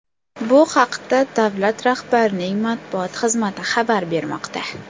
Bu haqda davlat rahbarining matbuot xizmati xabar bermoqda .